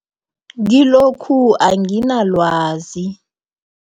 Kilokhu anginalwazi.